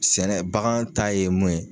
Sɛnɛ bagan ta ye mun ye